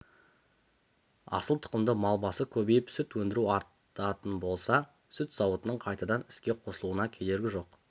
асыл тұқымды мал басы көбейіп сүт өндіру артатын болса сүт зауытының қайтадан іске қосылуына кедергі жоқ